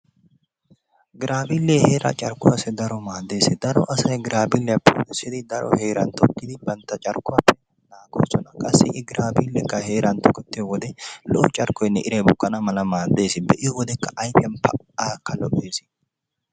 Giraaviilee heeraa carkkuwassi daro maaddees. Daro asay giraviliyaa puuttissidi dari heeran tokkidi bantta carkkuwaa naagoosona. Qassi i giraaviileekka heeran tokketiyo wode lo'o carkkoynne iray bukkana mala maaddees. Be'iyo wode ayfiyan pa aaka lo'ees.